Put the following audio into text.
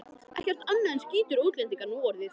Ekkert annað en skítugir útlendingar núorðið.